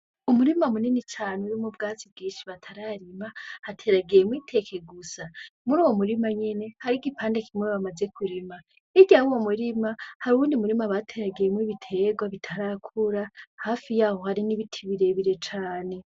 Umurima munini cane urimwo ubwatsi bwinshi batararima hateragiyemwo iteke gusa. Muruwo murima nyene, hariho igipande kimwe bamaze kurima. Hirya y‘ uwo murima hariho uwundi murima bateragiyemwo ibiterwa bitarakura hafi yaho hari n‘ ibiti birebire cane .